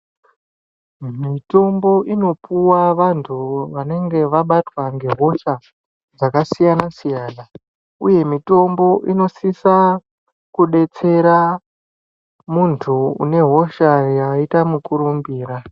Mitombo inopuwa vantu vanenge vabatwa ngehosha dzakasiyana siyana uye mutombo inosisa kudetsera muntu une hosha yaita mukurumbira.